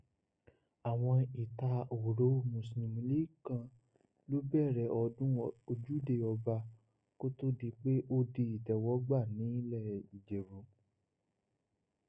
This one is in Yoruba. àwọn ẹtahóró mùsùlùmí kan ló bẹrẹ ọdún ojúde ọba kó tó di pé ó di ìtẹwọgbà nílé ìjẹbù